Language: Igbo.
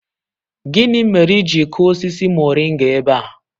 Gini mere i ji kuo osisi moringa ebe a?